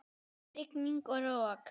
Rigning og rok.